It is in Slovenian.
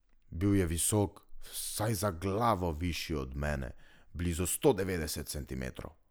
Bil je visok, vsaj za glavo višji od mene, blizu sto devetdeset centimetrov.